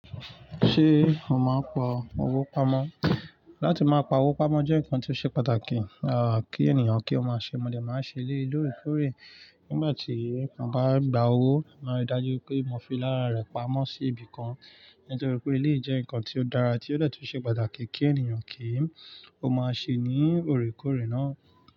Ṣé mo máa ń pa owó pamọ́? Láti máa pa owó pamọ́ jẹ́ nǹkan tó ṣe pàtàkì, à kí ènìyàn kí ó máa ṣe, mo dẹ̀ máa ń ṣe eleyí lóòrèkóòrè. Nígbà tí mo bá gba owó, màá ri dájú wipé mo fi lára rẹ̀ pamọ́ sí ibìkan nítorí pé eléyìí jẹ́ nǹkan tí ó dára, tí ó de tun ṣe pàtàkì kí ènìyàn kí ó máa ṣe ní òrèkóòrè náà.